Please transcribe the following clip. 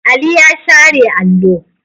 Ali ya share allo.